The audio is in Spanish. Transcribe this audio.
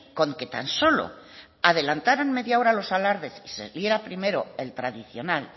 con que tan solo adelantaran media hora los alardes y se viera primero el tradicional